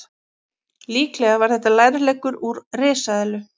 Líklega var þetta lærleggur úr risaeðlu.